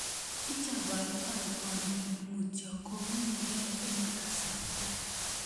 Ichabaitoi boldet mutyo kounyekei eng kasarta